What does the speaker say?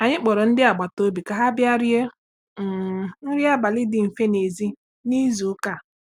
Anyị kpọrọ ndị agbata obi ka ha bịa rie um nri abalị dị mfe n'èzí n'izu ụka.